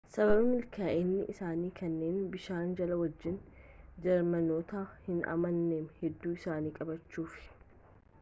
sababaa milkaa'ina isaanii kanneen bishaan jala wajjin jeermanootni hin amanamne hedduu isaanii qabachuf